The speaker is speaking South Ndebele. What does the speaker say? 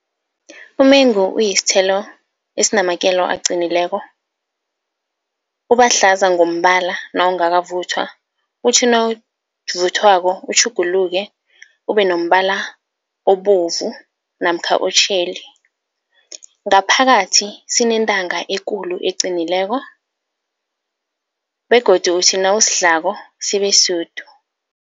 Umengu uyisithelo esinamakelo aqinileko, uba hlaza ngombala nawungakavuthwa, uthi nawuvuthwako utjhuguluke ube nombala obovu namkha otjheli. Ngaphakathi sinentanga ekulu eqinileko begodu uthi nawusidlako sibe sude.